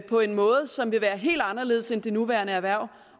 på en måde som vil være helt anderledes end det nuværende erhverv